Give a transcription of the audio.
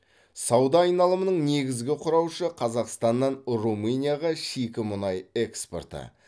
сауда айналымының негізгі құраушы қазақстаннан румынияға шикі мұнай экспорты